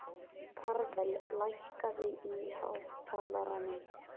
Karvel, lækkaðu í hátalaranum.